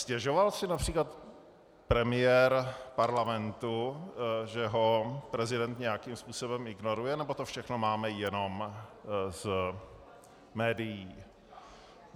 Stěžoval si například premiér parlamentu, že ho prezident nějakým způsobem ignoruje, nebo to všechno máme jenom z médií?